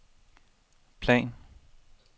plan